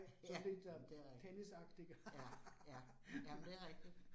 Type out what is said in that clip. Ja, men det rigtigt. Ja, ja, jamen det rigtigt